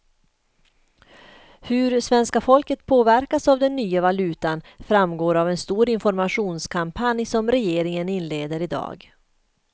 Hur svenska folket påverkas av den nya valutan framgår av en stor informationskampanj som regeringen inleder i dag.